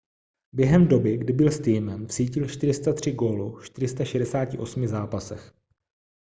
během doby kdy byl s týmem vsítil 403 gólů v 468 zápasech